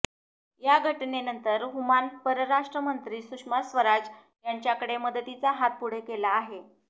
या घटनेनंतर हुमानं परराष्ट्रमंत्री सुषमा स्वराज यांच्याकडे मदतीचा हात पुढे केला आहे